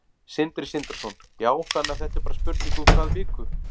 Sindri Sindrason: Já, þannig að þetta er bara spurning um hvað viku?